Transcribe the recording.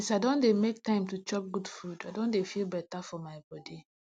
since i don dey make time to chop good food i don dey feel better for my body